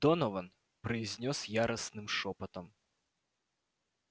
донован произнёс яростным шёпотом